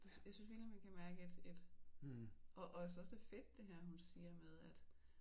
Jeg synes virkelig man kan mærke et et og også at det er fedt det her hun siger med at